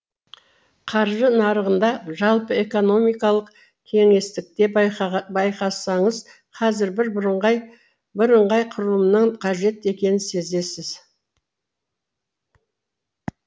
қаржы нарығында жалпы экономикалық кеңістікте байқасаңыз қазір бір бірыңғай құрылымның қажет екенін сезесіз